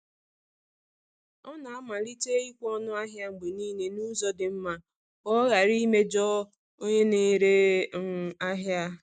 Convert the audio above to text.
Ọ na-amalite ịkwụ ọnụ ahịa mgbe niile n’ụzọ dị mma ka ọ ghara imejọ onye na-ere um ahịa.